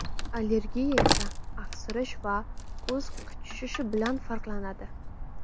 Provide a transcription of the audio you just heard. Allergiya esa aksirish va ko‘z qichishishi bilan farqlanadi.